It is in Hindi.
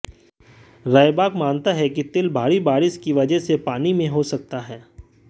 रयबाक मानता है कि तिल भारी बारिश की वजह से पानी में हो सकता है